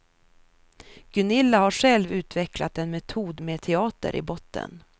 Gunilla har själv utvecklat en metod med teater i botten.